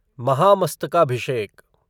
महामस्तकाभिषेक